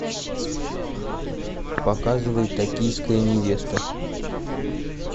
показывай токийская невеста